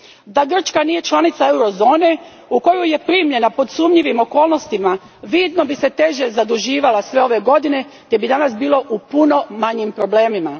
Da Grčka nije članica eurozone, u koju je primljena pod sumnjivim okolnostima, vidno bi se teže zaduživala sve ove godine te bi danas bila u puno manjim problemima.